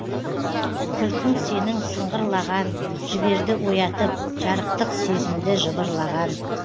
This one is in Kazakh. күлкің сенің сыңғырлаған жіберді оятып жарықтық сезімді жыбырлаған